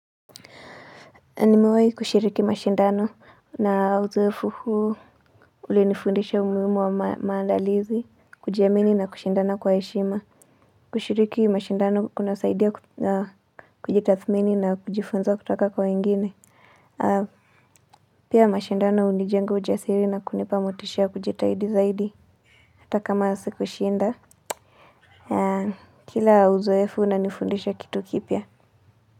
Na nimewahi kushiriki mashindano na uzoefu huu ulinifundisha umuhimu wa maandalizi kujiamini na kushindana kwa heshima kushiriki mashindano kunasaidia kujitathmini na kujifunza kutoka kwa wengine pia mashindano hunijenga ujasiri na kunipa motisha wa kujitahidi zaidi. Hata kama sikushinda kila uzoefu unanifundisha kitu kipya.